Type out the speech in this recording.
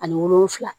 Ani wolonfila